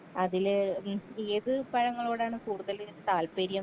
അതില് മീൻസ് ഏത് പഴങ്ങളോടാണ് കൂടുതല് താൽപ്പര്യം.